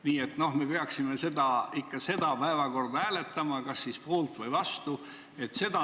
Nii et me peaksime just seda päevakorda hääletama, kas poolt või vastu.